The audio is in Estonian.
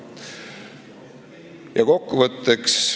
Ja kokkuvõtteks.